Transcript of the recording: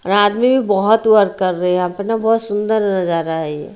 आदमी भी बहोत वर्क कर रहे है यहां पे न बहोत सुंदर नजरा है ये।